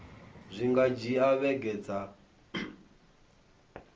zwi nga dzhia vhege dza